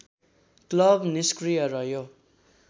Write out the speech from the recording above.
club निस्क्रिय रह्यो